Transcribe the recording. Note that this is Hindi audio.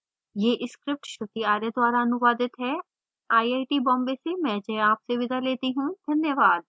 यह स्क्रिप्ट श्रुति आर्य द्वारा अनुवादित है आई आई टी बॉम्बे से मैं जया आपसे विदा लेती हूँ धन्यवाद